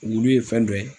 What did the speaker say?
Wulu ye fɛn dɔ ye